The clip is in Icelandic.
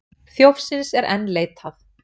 Þjófsins er enn leitað